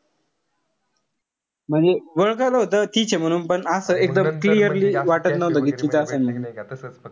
म्हणजे वळखलं होत तिचे म्हणून. पण असं एकदम clearly वाटत नव्हतं कि तीच असेल म्हणून.